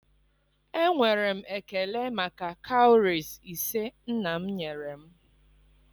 enwere m ekele maka cowries ise nna m nyere m.